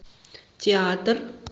театр